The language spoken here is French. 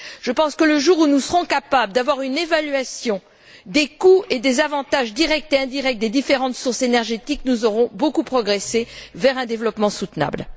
Je pense que, le jour où nous serons capables d'avoir une évaluation des coûts et des avantages directs et indirects des différentes sources énergétiques, nous aurons beaucoup progressé vers un développement soutenable.